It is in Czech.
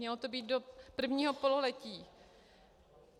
Mělo to být do prvního pololetí.